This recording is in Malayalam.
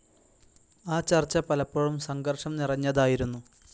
ആ ചർച്ച പലപ്പോഴും സംഘർഷം നിറഞ്ഞതായിരുന്നു.